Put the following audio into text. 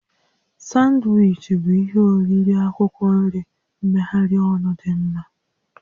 Sanwichi bụ ihe oriri akwụkwọ nri mmegharị ọnụ dị mma